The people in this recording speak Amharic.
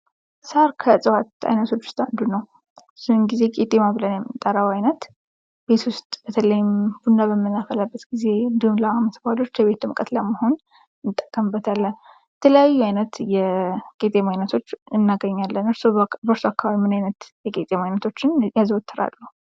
ሳር ከእፅዋት አይነቶች ዉስጥ አንዱ ነው ብዙውን ጊዜ ቄጠማ ብለን የምንጠራው አይነት ቤት ዉስጥ በተለይም ቡና በምናፈላበት እንዲሁም ለአመት በዓሎች የቤት ድምቀት ለመሆን እንጠቀምበታለን:: የተለያዩ አይነት የቀጠማ አይነቶች እናገኛለን:: እርሶ በርሶ አካባቢ ምን አይነት የቀጠማ አይነቶችን ያዘወትራሉ?